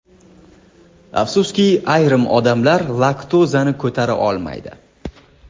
Afsuski, ayrim odamlar laktozani ko‘tara olmaydi.